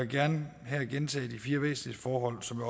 gerne her gentage de fire væsentligste forhold som